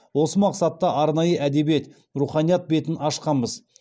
осы мақсатта арнайы әдебиет руханият бетін ашқанбыз